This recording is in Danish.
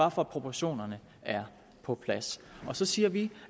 at få proportionerne på plads så siger vi